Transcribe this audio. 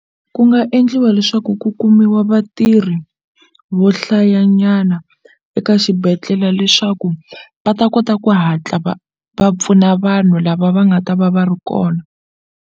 Ku nga endliwa leswaku ku kumiwa vatirhi vo hlayanyana eka xibedhlele leswaku va ta kota ku hatla va pfuna vanhu lava va nga ta va va ri kona.